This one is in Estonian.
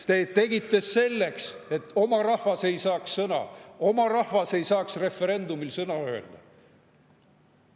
Te tegite seda selleks, et oma rahvas ei saaks sõna, oma rahvas ei saaks referendumil sõna öelda.